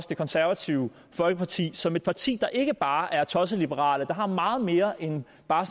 det konservative folkeparti som et parti der ikke bare er tossetliberale der har meget mere end bare